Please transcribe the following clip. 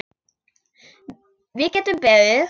Við getum beðið.